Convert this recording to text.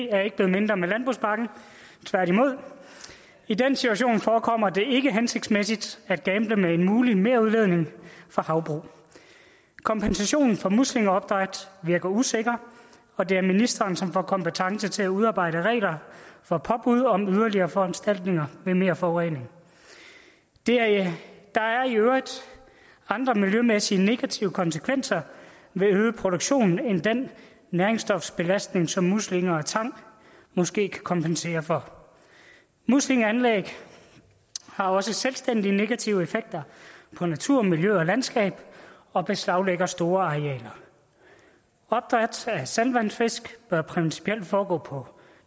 er ikke blevet mindre med landbrugspakken tværtimod i den situation forekommer det ikke hensigtsmæssigt at gamble med en mulig merudledning fra havbrug kompensationen for muslingeopdræt virker usikker og det er ministeren som har kompetence til at udarbejde regler for påbud om yderligere foranstaltninger ved mere forurening der er i øvrigt andre miljømæssige negative konsekvenser ved øget produktion end den næringsstofsbelastning som muslinger og tang måske kan kompensere for muslingeanlæg har også selvstændige negative effekter på natur miljø og landskab og beslaglægger store arealer opdræt af saltvandsfisk bør principielt foregå